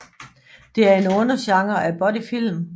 Det er en undergenre af buddyfilm